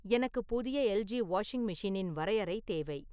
எனக்கு புதிய L. G. Washing மெஷினின் வரையறை தேவை